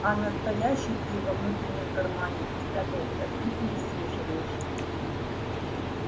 а настоящий ты во внутреннем кармане спрятался и пересиживаешь